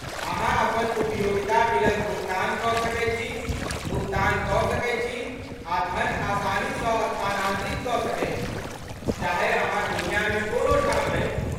अहाँ अपन उपयोगिता बिलक भुगतान कऽ सकैत छी, भुगतान कऽ सकैत छी, आ धन आसानीसँ स्थानान्तरित कऽ सकैत छी, चाहे अहाँ दुनियामे कोनो ठाम रही।